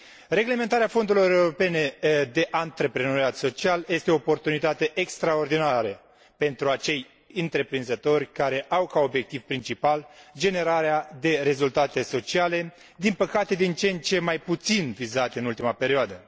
Reglementarea fondurilor europene de antreprenoriat social este o oportunitate extraordinară pentru acei întreprinzători care au ca obiectiv principal generarea de rezultate sociale, din păcate, din ce în ce mai puțin vizate în ultima perioadă.